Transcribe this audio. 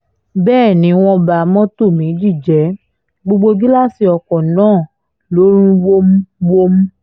bẹ́ẹ̀ ni wọ́n ba mọ́tò méjì jẹ́ gbogbo gíláàsì ọkọ̀ náà lọ rún wómúwómú